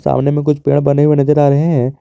सामने में कुछ पेड़ बने हुए नजर आ रहे हैं।